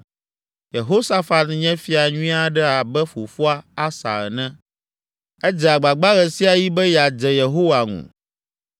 Yehosafat nye fia nyui aɖe abe fofoa, Asa ene; edze agbagba ɣe sia ɣi be yeadze Yehowa ŋu,